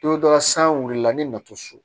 Don dɔ la san wulila ni nato so